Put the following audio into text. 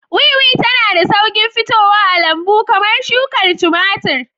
Wiwi tana da sauƙin fitowa a lambu kamar shukar tumatir.